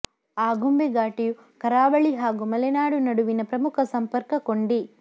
ಆಗುಂಬೆ ಘಾಟಿಯು ಕರಾವಳಿ ಹಾಗೂ ಮಲೆನಾಡು ನಡುವಿನ ಪ್ರಮುಖ ಸಂಪರ್ಕ ಕೊಂಡಿ